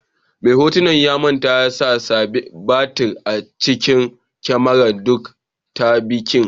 Mai hotunan ya manta ya sa batir a cikin kamaran duk ta bikin.